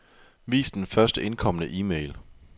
Vis den først indkomne e-mail.